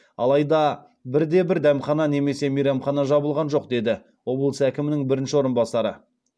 алайда бір де бір дәмхана немесе мейрамхана жабылған жоқ деді облыс әкімінің бірінші орынбасары